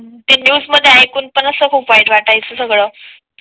ते न्यूज मध्ये ऐकून पण असं खूप वाईट वाटायचं सगळं